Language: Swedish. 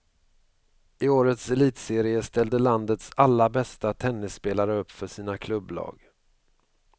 I årets elitserie ställde landets alla bästa tennisspelare upp för sina klubblag.